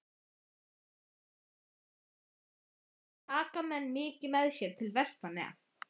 Breki Logason: Hvað taka menn mikið með sér til Vestmannaeyja?